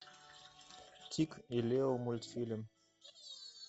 тиг и лео мультфильм